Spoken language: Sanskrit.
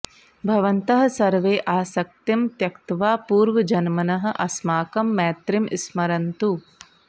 भवन्तः सर्वे आसक्तिं त्यक्त्वा पूर्वजन्मनः अस्माकं मैत्रीं स्मरन्तु